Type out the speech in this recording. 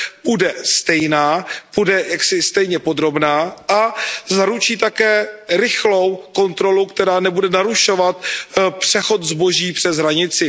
bude stejná, bude jaksi stejně podrobná a zaručí také rychlou kontrolu, která nebude narušovat přechod zboží přes hranici.